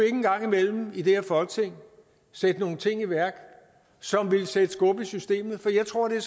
engang imellem i det her folketing sætte nogle ting i værk som ville sætte skub i systemet jeg tror det er